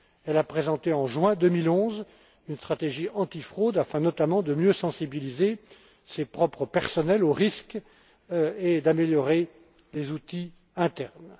Elle a présenté, en juin 2011, une stratégie antifraude afin, notamment, de mieux sensibiliser son propre personnel aux risques et d'améliorer les outils internes.